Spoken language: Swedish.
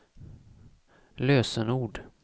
lösenord